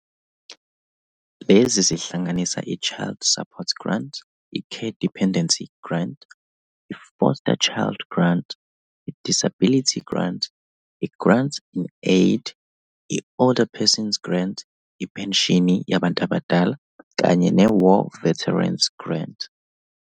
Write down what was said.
Lezi zihlanganisa i-Child Support Grant, i-Care Dependency Grant, i-Foster Child Grant, i-Disability Grant, i-Grant-in-Aid, i-Older Person's Grant, ipenshini yabantu abadala, kanye ne-War Veteran's Grant.